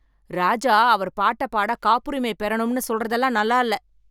ராஜா அவர் பாட்ட பாட காப்புரிமை பெறனும்னு சொல்றதெல்லாம் நல்லால்ல‌